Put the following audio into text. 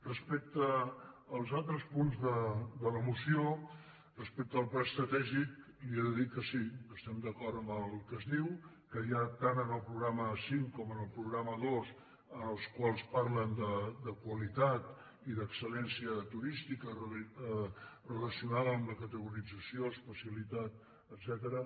respecte als altres punts de la moció respecte al pla estratègic li he de dir que sí que estem d’acord amb el que es diu que ja tant en el programa cinc com en el pro·grama dos en els quals parlen de qualitat i d’excelturística relacionada amb la categorització especiali·tat etcètera